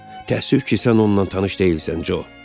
Təəssüf ki, sən onunla tanış deyilsən, Co.